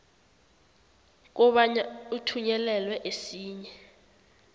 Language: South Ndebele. kobana uthunyelelwe esinye